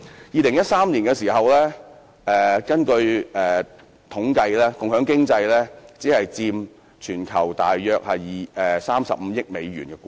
2013年，有統計顯示共享經濟只佔全球約35億美元的估值。